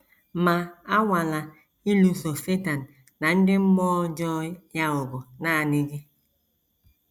Ma anwala ịlụso Setan na ndị mmụọ ọjọọ ya ọgụ nanị gị.